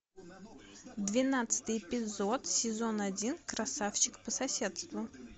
двенадцатый эпизод сезон один красавчик по соседству